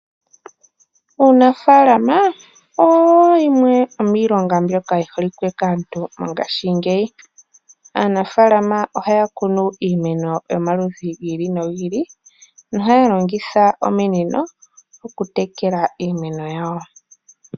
Uunafalama owo yimwe yomiilonga mbyoka yi holike kaantu mongashingeyi. Aanafaalama ohaya kunu iimeno yomaludhi gi ili nogi ili. Ohaya longitha ominino okutekela iimeno yawo.